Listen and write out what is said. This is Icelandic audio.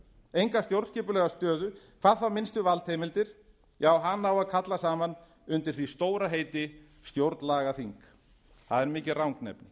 enga stjórnskipulega stöðu hvað þá minnstu valdheimildir hana á að kalla saman undir því stóra heiti stjórnlagaþing það er mikið rangnefni